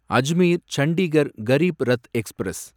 Ajmer Chandigarh Garib Rath express